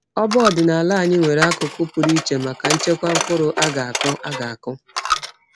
Ọba ọdịnala anyị nwere akụkụ pụrụ iche maka nchekwa mkpụrụ a ga-akụ. a ga-akụ.